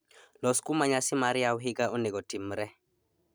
Los kuma nyasi mar yaw higa onego otimre